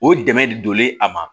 O dɛmɛ de donlen a ma